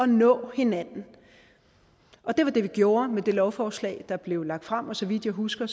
nå hinanden og det var det vi gjorde med det lovforslag der blev lagt frem og så vidt jeg husker